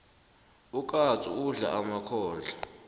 ukatsu udla emakhondlo